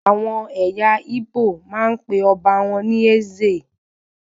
Àwọn ẹyà Igbo máa ń pe ọba wọn ní "Eze"